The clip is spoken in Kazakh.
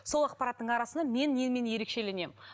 сол ақпараттың арасынан мен немен ерекшелемін